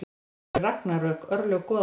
Þetta eru ragnarök, örlög goðanna.